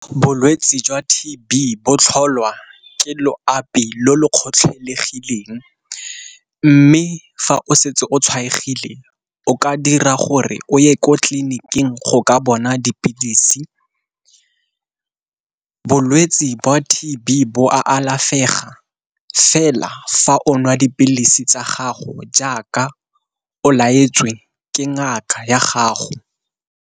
Bolwetsi jwa T_B bo tlholwa ke loapi lo lo kgotlhelegileng, mme fa o setse o tshwaegile o ka dira gore o ye ko tleliniking go ka bona dipilisi. Bolwetsi jwa T_B bo a alafega fela fa o nwa dipilisi tsa gago jaaka o laetswe ke ngaka ya gago.